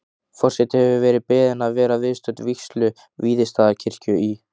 Forseti hefur verið beðin að vera viðstödd vígslu Víðistaðakirkju í